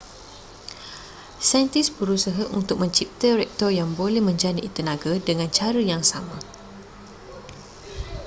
saintis berusah untuk mencipta reaktor yang boleh menjana tenaga dengan cara yang sama